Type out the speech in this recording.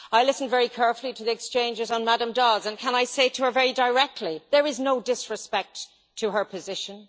I listened very carefully to the exchanges on Ms Dodds, and can I say to her very directly there is no disrespect to her position